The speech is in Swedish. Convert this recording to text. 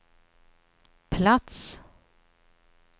plats